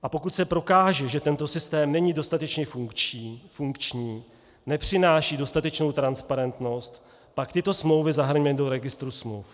A pokud se prokáže, že tento systém není dostatečně funkční, nepřináší dostatečnou transparentnost, pak tyto smlouvy zahrňme do registru smluv.